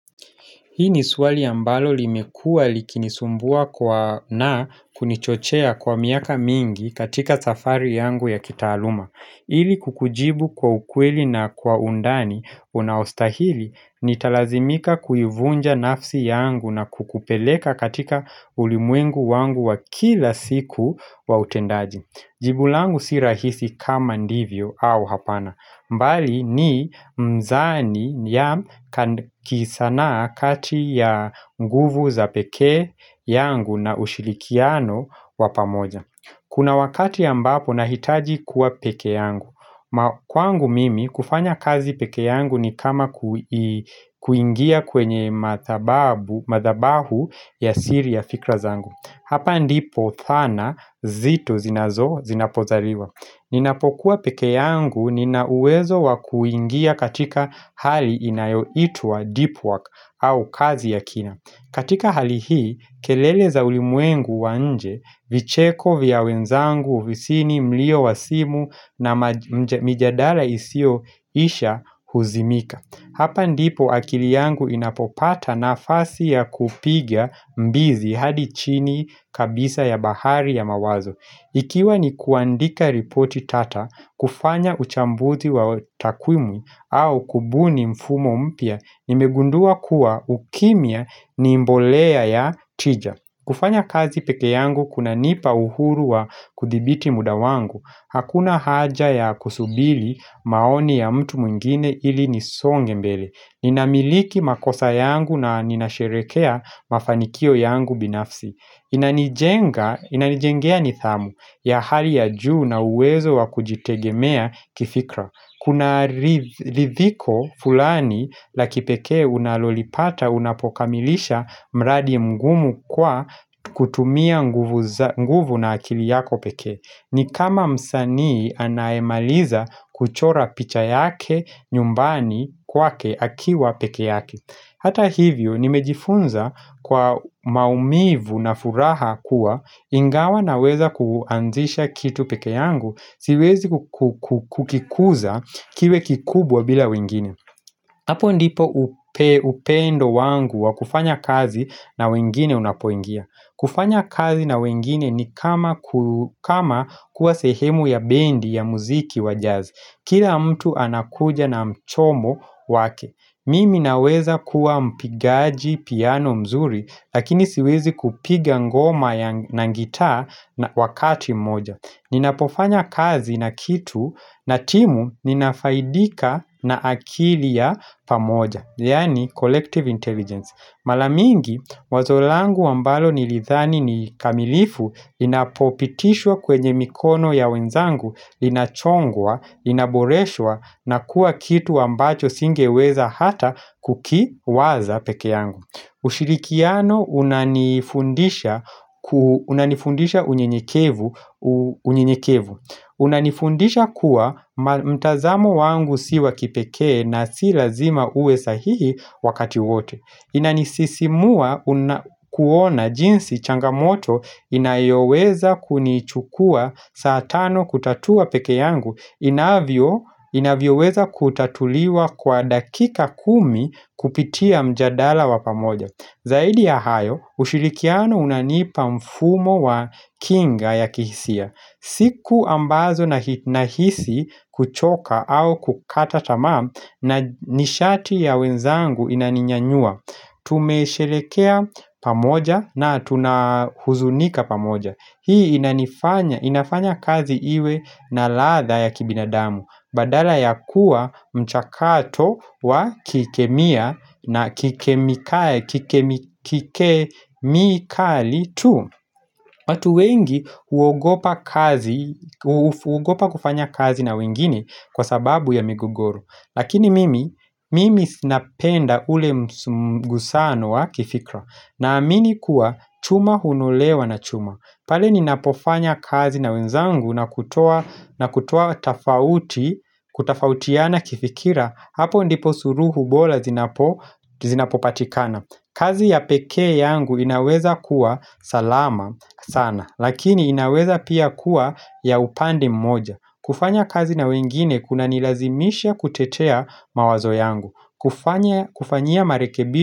Hii ni swali ambalo limekua likinisumbua na kunichochea kwa miaka mingi katika safari yangu ya kitaaluma. Ili kukujibu kwa ukweli na kwa undani unaostahili ni talazimika kuyuvunja nafsi yangu na kukupeleka katika ulimwengu wangu wa kila siku wa utendaji. Jibulangu si rahisi kama ndivyo au hapana. Mbali ni mzani ya kisanaa kati ya nguvu za peke yangu na ushirikiano wa pamoja Kuna wakati ambapo na hitaji kuwa peke yangu Kwangu mimi kufanya kazi peke yangu ni kama kuingia kwenye madhabahu ya siri ya fikra zangu Hapa ndipo dhana zito zinazo zinapozaliwa Ninapokuwa peke yangu ninauwezo wa kuingia katika hali inayo itua deep work au kazi ya kina katika hali hii, kelele za ulimwengu wanje, vicheko vya wenzangu, visini, mlio wasimu na mijadala isio isha huzimika Hapa ndipo akili yangu inapopata nafasi ya kupigwa mbizi hadi chini kabisa ya bahari ya mawazo Ikiwa ni kuandika ripoti tata, kufanya uchambuzi wa takwimu au kubuni mfumo mpia, nimegundua kuwa ukimia ni mbolea ya tija. Kufanya kazi peke yangu kuna nipa uhuru wa kudhibiti muda wangu. Hakuna haja ya kusubiri maoni ya mtu mwingine ili nisonge mbele. Ninamiliki makosa yangu na ninasherehekea mafanikio yangu binafsi. Inanijengea nithamu ya hali ya juu na uwezo wa kujitegemea kifikra Kuna ridhiko fulani la kipekee unalolipata unapokamilisha mradi mgumu kwa kutumia nguvu na akili yako peke ni kama msanii anayemaliza kuchora picha yake nyumbani kwake akiwa peke yake Hata hivyo, nimejifunza kwa maumivu na furaha kuwa ingawa naweza kuanzisha kitu peke yangu, siwezi kukikuza kiwe kikubwa bila wengine Hapo ndipo upendo wangu wa kufanya kazi na wengine unapoingia kufanya kazi na wengine ni kama kuwa sehemu ya bendi ya muziki wa jazz Kila mtu anakuja na mchomo wake Mimi naweza kuwa mpigaji piano mzuri lakini siwezi kupiga ngoma na gitaa wakati moja Ninapofanya kazi na kitu na timu ninafaidika na akili ya pamoja Yani collective intelligence Mara mingi wazo langu ambalo nilidhani nikamilifu inapopitishwa kwenye mikono ya wenzangu inachongwa, inaboreshwa na kuwa kitu ambacho singeweza hata kukiwaza peke yangu ushirikiano unanifundisha unyenyekevu unanifundisha kuwa mtazamo wangu siwa kipekee na si lazima uwe sahihi wakati wote inanisisimua unakuona jinsi changamoto inayoweza kunichukua saa tano kutatua peke yangu inavyo inavyo weza kutatuliwa kwa dakika kumi kupitia mjadala wa pamoja zaidi ya hayo ushirikiano unanipa mfumo wa kinga ya kihisia siku ambazo nahisi kuchoka au kukata tamaa na nishati ya wenzangu inaninyanyua Tumesherekea pamoja na tunahuzunika pamoja Hii inafanya kazi iwe na latha ya kibinadamu Badala ya kuwa mchakato wa kikemia na kikemikali tu watu wengi hugopa kufanya kazi na wengine kwa sababu ya migogoro Lakini mimi, mimi sinapenda ule mgusano wa kifikra na amini kuwa chuma hunolewa na chuma Pali ni napofanya kazi na wenzangu na kutua na kutua tofauti Kutafautiana kifikira hapo ndipo suruhu bola zinapopatikana kazi ya peke yangu inaweza kuwa salama sana Lakini inaweza pia kuwa ya upande mmoja kufanya kazi na wengine kuna nilazimisha kuchetea mawazo yangu kufanya kufanya marekebi.